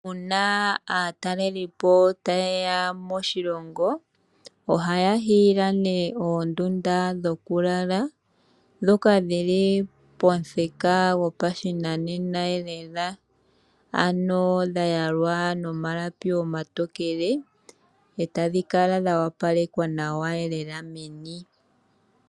Uuna aatalelipo taye ya moshilongo ohaya hiila nee oondunda dhokulala ndhoka dhi li pomuthika gopashinanena lela, ano dha yalwa nomalapi omatokele e tadhi kala dha opalekwa nawa lela meni.